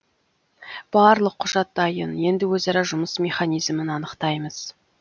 барлық құжат дайын енді өзара жұмыс механизмін анықтаймыз